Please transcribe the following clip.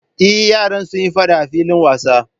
Eh, yaran suyi faɗa a filin wasa